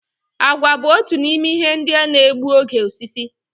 Àgwà bu otu n'ime ihe ndị na-egbu oge osisi